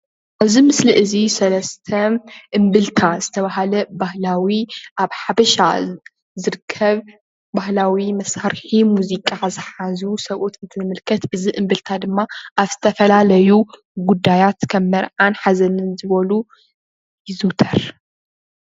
እዚ ምስሊ እዚ ሰለስተ እንብልታ ዝተባህለ ባህላዊ ኣብ ሓበሻ ዝርከብ ባህላዊ መሳርሒ ሙዚቃ ዝሓዙ ሰብኡት ንምልከት እዚ እምብልታ ድማ ኣብ ዝተፈላለዩ ጉዳያት ከም መርዓን ሓዘንን ዝበሉ ይዝውተር።